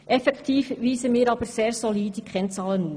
Effektiv weisen wir jedoch sehr solide Kennzahlen auf.